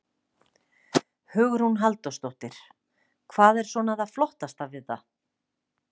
Hugrún Halldórsdóttir: Hvað er svona það flottasta við það?